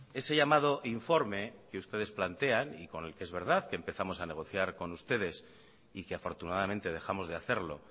ese llamado informe que ustedes plantean y con el que es verdad que empezamos a negociar con ustedes y que afortunadamente dejamos de hacerlo